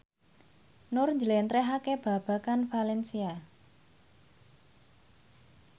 Nur njlentrehake babagan valencia